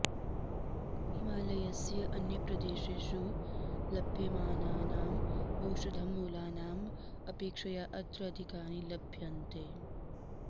हिमालयस्य अन्यप्रदेशेषु लभ्यमानानाम् औषधमूलानाम् अपेक्षया अत्र अधिकानि लभ्यन्ते